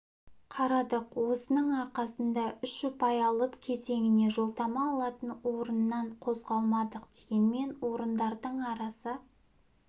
қарадық осының арқасында үш ұпай алып кезеңіне жолдама алатын орыннан қозғалмадық дегенмен орындардың арасы